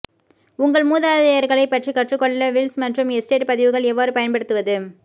உங்கள் மூதாதையர்களைப் பற்றி கற்றுக்கொள்ள வில்ஸ் மற்றும் எஸ்டேட் பதிவுகள் எவ்வாறு பயன்படுத்துவது